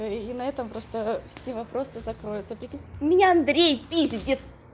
и на этом просто все вопросы закроются меня андрей пиздит